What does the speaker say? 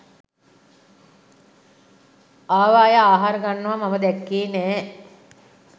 ආව අය ආහාර ගන්නවා මම දැක්කේ නෑ